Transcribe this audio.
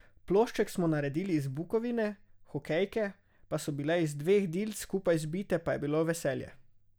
Plošček smo naredili iz bukovine, hokejke pa so bile iz dveh dilc skupaj zbite, pa je bilo veselje.